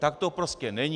Tak to prostě není.